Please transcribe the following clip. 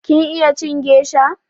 Kin iya cin gesha?